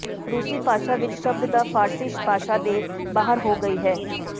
ਰੂਸੀ ਭਾਸ਼ਾ ਵਿਚ ਸ਼ਬਦ ਦਾ ਫ਼ਾਰਸੀ ਭਾਸ਼ਾ ਦੇ ਬਾਹਰ ਹੋ ਗਈ ਹੈ